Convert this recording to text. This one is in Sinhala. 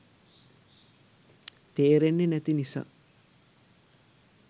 තේරෙන්නේ නැති නිසා